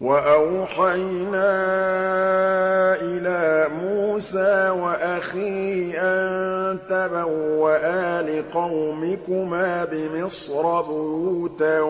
وَأَوْحَيْنَا إِلَىٰ مُوسَىٰ وَأَخِيهِ أَن تَبَوَّآ لِقَوْمِكُمَا بِمِصْرَ بُيُوتًا